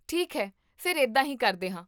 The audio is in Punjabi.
ਠੀਕ ਹੈ ਫਿਰ ਇੱਦਾਂ ਹੀ ਕਰਦੇ ਹਾਂ